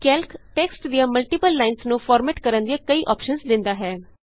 Calc text ਦੀਆਂ multiple lines ਨੂੰ format ਕਰਨ ਦੀਆਂ ਕਈ ਅੋਪਸ਼ਨਸ ਦਿੰਦਾ ਹੈ